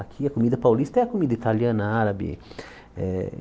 Aqui a comida paulista é a comida italiana, árabe. Eh